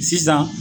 Sisan